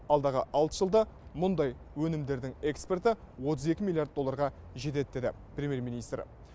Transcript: алдағы алты жылда мұндай өнімдердің экспорты отыз екі миллиард долларға жетеді деді премьер министр